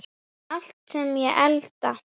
Allt sem ég elda.